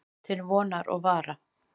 Til vonar og vara.